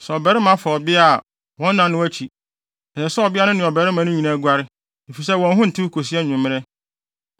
Sɛ ɔbarima fa ɔbea a, wɔn nna no akyi, ɛsɛ sɛ ɔbea no ne ɔbarima no nyinaa guare, efisɛ wɔn ho ntew kosi anwummere.